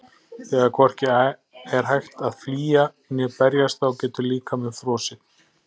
Þegar hvorki er hægt að flýja né berjast þá getur líkaminn frosið.